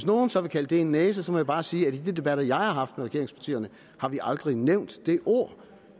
nogen så vil kalde det en næse må jeg bare sige at i de debatter jeg har haft med regeringspartierne har vi aldrig nævnt det ord